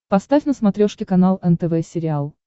поставь на смотрешке канал нтв сериал